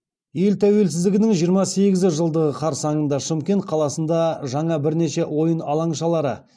ел тәуелсіздігінің жиырма сегізі жылдығы қарсаңында шымкент қаласында жаңа бірнеше ойын алаңшалары